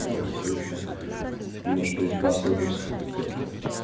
хуй знает может приспособился к этому